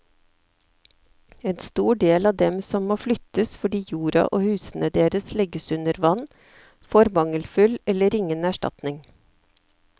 En stor del av dem som må flyttes fordi jorda og husene deres legges under vann, får mangelfull eller ingen erstatning.